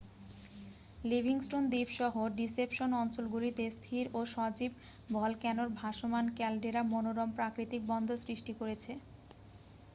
Livingstone দ্বীপ-সহ Deception অঞ্চলগুলিতে স্থির ও সজীব ভলক্যানোর ভাসমান ক্যালডেরা মনোরম প্রাকতিক বন্দর সৃষ্টি করেছে